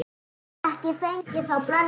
Ekki fengið þá blöndu áður.